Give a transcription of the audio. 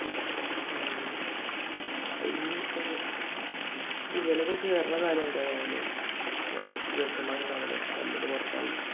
അതന്നെ അതിനിപ്പോ ഇവനൊക്കെ കേറുന്ന കാര്യം എന്തായി രാവിലെ അവിടെ കുറച്ച് ചെറുക്കന്മാരുണ്ടാരുന്നില്ലേ തല്ലുണ്ടാക്കി പുറത്തായി